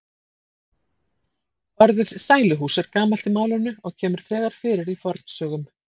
Orðið sæluhús er gamalt í málinu og kemur þegar fyrir í fornsögum.